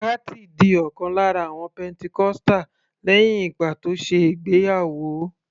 Kathy di ọ̀kan lára àwọn pentecostal lẹ́hìn ìgbà tó ṣe ìgbéyàwó